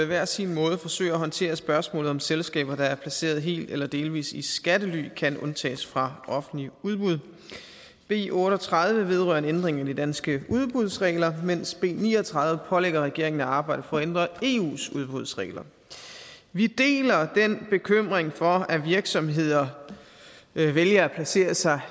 hver sin måde forsøger at håndtere spørgsmålet om om selskaber der er placeret helt eller delvis i skattely kan undtages fra offentlige udbud b otte og tredive vedrører en ændring i de danske udbudsregler mens b ni og tredive pålægger regeringen at arbejde for at ændre eus udbudsregler vi deler den bekymring for at virksomheder vælger at placere sig